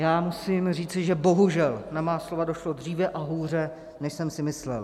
Já musím říci, že bohužel na má slova došlo dříve a hůře, než jsem si myslel.